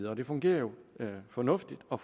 og det fungerer jo fornuftigt og